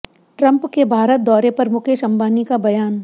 Trump के भारत दौरे पर मुकेश अंबानी का बयान